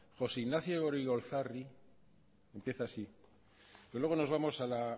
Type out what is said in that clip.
josé ignacio goirigolzarri empieza así pero luego nos vamos a la